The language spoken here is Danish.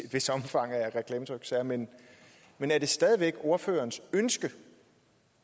vist omfang af reklametryksager men men er det stadig væk ordførerens ønske